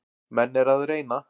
Menn eru að reyna.